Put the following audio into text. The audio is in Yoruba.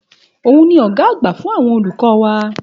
Òun ni ọ̀gá àgbà fún àwọn olùkọ́ wa.